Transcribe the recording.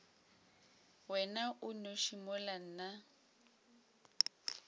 wena o nnoši mola nna